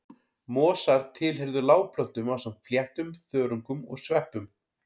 Mosar tilheyrðu lágplöntum ásamt fléttum, þörungum og sveppum.